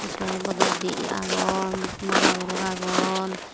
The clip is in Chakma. spite bodol di agon maja guluk agon.